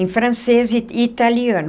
Em francês e e italiano.